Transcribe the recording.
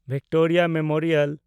Victoria memorial